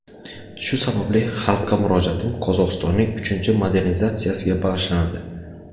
Shu sababli xalqqa murojaatim Qozog‘istonning uchinchi modernizatsiyasiga bag‘ishlanadi.